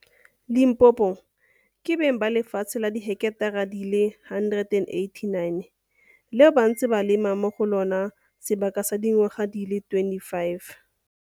Limpopo, ke beng ba lefatshe la diheketara di le 189, leo ba ntseng ba lema mo go lona sebaka sa dingwaga di le 25.